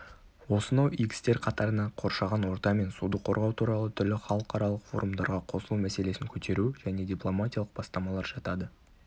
осынау игі істер қатарына қоршаған орта мен суды қорғау туралы түрлі халықаралық форумдарға қосылу мәселесін көтеру және дипломатиялық бастамалар жатады